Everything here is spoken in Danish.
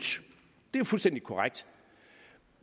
det er fuldstændig korrekt